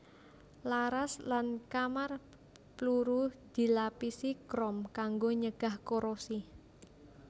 Laras lan kamar pluru dilapisi krom kanggo nyegah korosi